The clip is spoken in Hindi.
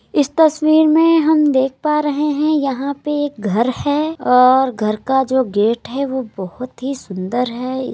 इस तस्वीर मे हम देख पा रहे हैं। यहाँ पे एक घर है और घर का जो गेट है। वह बहोत ही सुंदर है।